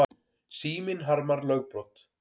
Síminn harmar lögbrot